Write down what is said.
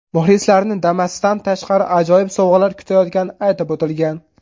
Muxlislarni Damas’dan tashqari ajoyib sovg‘alar kutayotgani aytib o‘tilgan.